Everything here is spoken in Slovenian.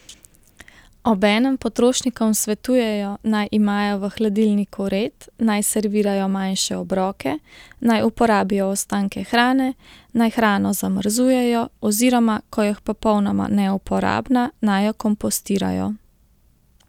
Obenem potrošnikom svetujejo, naj imajo v hladilniku red, naj servirajo manjše obroke, naj uporabijo ostanke hrane, naj hrano zamrzujejo, oziroma ko je popolnoma neuporabna, naj jo kompostirajo.